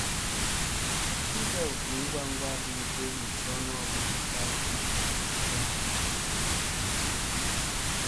Ịza òkù ngwa ngwa adịghịkwa egbochi ọnụ ọgụgụ ka ukwuu nke mpụ.